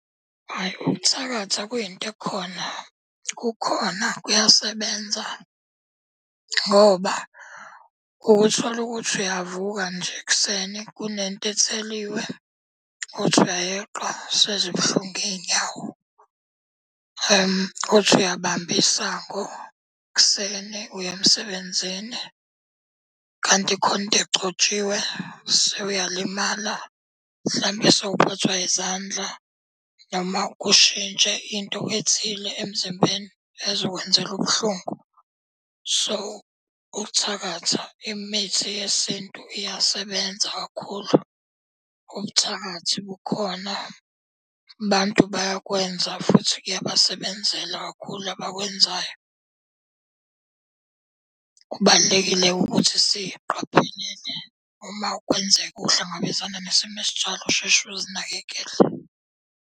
Hhayi uthakatha kuyinto ekhona. Kukhona kuyasebenza ngoba ukuthole ukuthi uyavuka nje ekuseni kunento etheliwe, uthi uyayeqa sezibuhlungu iy'nyawo. Uthi uyabamba isango ekuseni uye emsebenzini kanti khona into engcotshiwe sewuyalimala. Mhlambe sewuphathwa izandla noma kushintshe into ethile emzimbeni ezokwenzela ubuhlungu. So ukuthakatha, imithi yesintu iyasebenza kakhulu. Ubuthakathi bukhona, abantu bayakwenza futhi kuyabasebenzela kakhulu abakwenzayo. Kubalulekile-ke ukuthi siqaphelele uma kwenzeka uhlangabezana nesimo esinjalo, usheshe uzinakekele.